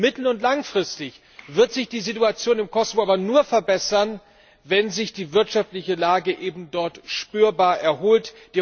Mittel und langfristig wird sich die Situation im Kosovo aber nur verbessern, wenn sich die wirtschaftliche Lage ebendort spürbar erholt.